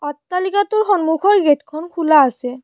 অট্টালিকাটোৰ সন্মুখৰ গেটখন খোলা আছে।